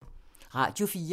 Radio 4